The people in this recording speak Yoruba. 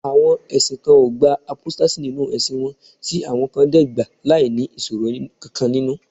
àwọn ẹsìn kan o gba apostasy ninu ẹsìn won ti awọn kan de gba lai ni iṣoro kankan ninu